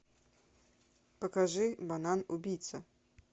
покажи банан убийца